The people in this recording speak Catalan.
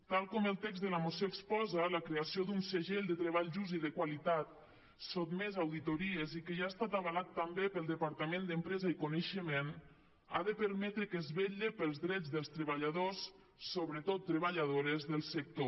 tal com el text de la moció exposa la creació d’un segell de treball just i de qualitat sotmès a auditories i que ja ha estat avalat també pel departament d’empresa i coneixement ha de permetre que es vetlli pels drets dels treballadors sobretot treballadores del sector